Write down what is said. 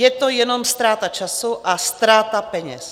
Je to jenom ztráta času a ztráta peněz.